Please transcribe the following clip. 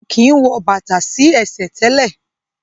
A kin wò bàtá sí ẹsẹ̀ tẹlẹ.